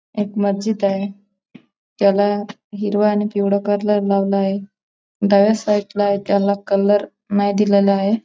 एक मस्जिद आहे. त्याला हिरवा आणि पिवळा कलर लावला आहे. डाव्या साईडला आहे. त्याला कलर नाही दिलेला आहे.